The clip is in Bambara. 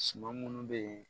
Suma munnu bɛ yen